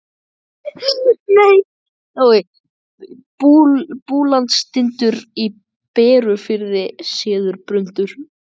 Búlandstindur í Berufirði, séður suður yfir fjörðinn.